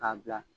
K'a bila